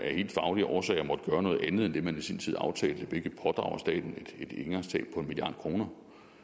af helt faglige årsager har noget andet end det man i sin tid aftalte hvilket pådrager staten et engangstab på en milliard kroner